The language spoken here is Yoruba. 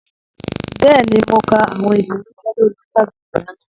Bẹ́ẹ̀ni, mọ̀ kà awọn ìfírànṣẹ̀ lórí Instagram lánà.